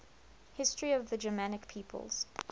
history of the germanic peoples